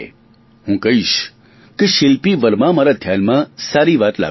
હું કહીશ કે શીલ્પી વર્માએ મારા ધ્યાનમાં સારી વાત લાવી છે